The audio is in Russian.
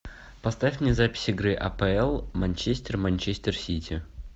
поставь мне запись игры апл манчестер и манчестер сити